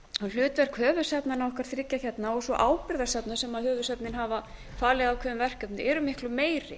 hlutverk höfuðsafnanna okkar þriggja hérna og svo ábyrgðarsafnið sem höfuðsöfnin hafa falið ákveðin verkefni sem eru náttúrlega meiri